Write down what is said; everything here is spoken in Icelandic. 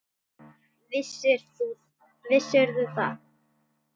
Vissirðu það?